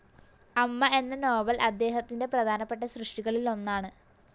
അമ്മ എന്ന നോവൽ അദ്ദേഹത്തിൻ്റെ പ്രധാനപ്പെട്ട സൃഷ്ടികളിലൊന്നാണ്.